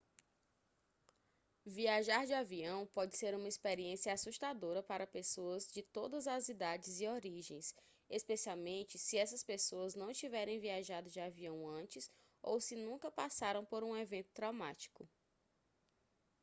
viajar de avião pode ser uma experiência assustadora para pessoas de todas as idades e origens especialmente se essas pessoas não tiverem viajado de avião antes ou se nunca passaram por um evento traumático